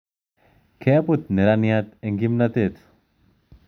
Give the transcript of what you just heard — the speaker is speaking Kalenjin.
Kabut neraniat eng kipnotet